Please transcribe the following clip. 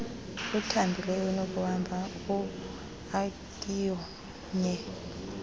othambileyo onokuhamba oaknye